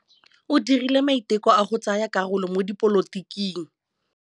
O dirile maitekô a go tsaya karolo mo dipolotiking.